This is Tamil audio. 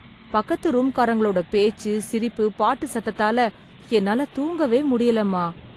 பக்கத்து ரூம்காரங்களோட பேச்சு, சிரிப்பு, பாட்டு சத்தத்தால என்னால தூங்கவே முடியலம்மா...